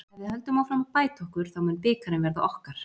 Ef við höldum áfram að bæta okkur þá mun bikarinn verða okkar.